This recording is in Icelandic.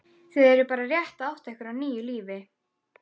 Þið eruð bara rétt að átta ykkur á nýju lífi.